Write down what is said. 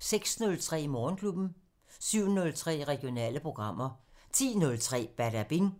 06:03: Morgenklubben 07:03: Regionale programmer 10:03: Badabing